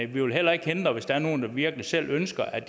vi vil heller ikke forhindre det hvis der er nogen der virkelig selv ønsker at